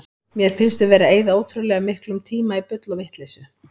Mér finnst við vera að eyða ótrúlega miklum tíma í bull og vitleysu.